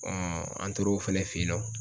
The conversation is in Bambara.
an tor'o fɛnɛ fe yen nɔ